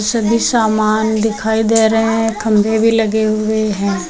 सभी सामान दिखाई दे रहे हैं खंभे भी लगे हुए हैं।